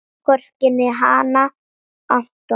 Hvorki um hana né Anton.